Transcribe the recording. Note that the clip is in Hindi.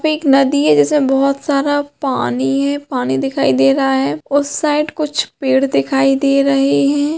ये एक नदी हैं जिसमे बहुत सारा पानी हैं पानी दिखाई दे रहा हैं उस साइड कुछ पेड़ दिखाई दे रहैं हैं।